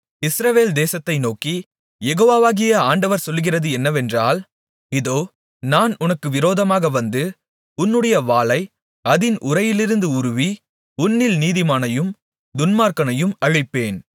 இஸ்ரவேல் தேசத்தை நோக்கி யெகோவாகிய ஆண்டவர் சொல்லுகிறது என்னவென்றால் இதோ நான் உனக்கு விரோதமாக வந்து என்னுடைய வாளை அதின் உறையிலிருந்து உருவி உன்னில் நீதிமானையும் துன்மார்க்கனையும் அழிப்பேன்